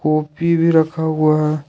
Coffee भी रखा हुआ है।